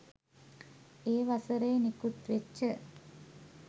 ඒ වසරේ නිකුත්වෙච්ච